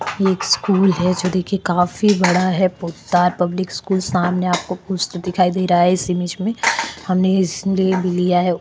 ये एक स्कूल है जो देखे काफी बड़ा है पुत्तार पब्लिक स्कूल सामने आपको कुस्त दिखाई दे रहा है इसी बीच में हमने लिया है।